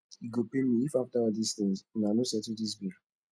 e go pain me if after all dis things una no settle dis beef